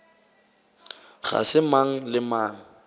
ga se mang le mang